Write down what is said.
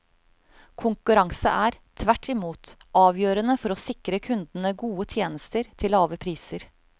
Konkurranse er, tvert imot, avgjørende for å sikre kundene gode tjenester til lave priser.